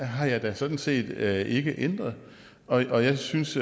har jeg da sådan set ikke ændret og jeg synes